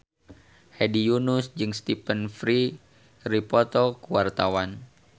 Hedi Yunus jeung Stephen Fry keur dipoto ku wartawan